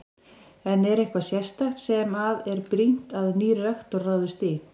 En er eitthvað sérstakt sem að er brýnt að nýr rektor ráðist í?